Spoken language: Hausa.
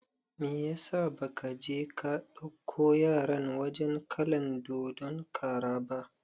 Meyasa ba ka je ka dauko yaran wajen kalan dodon kara ba?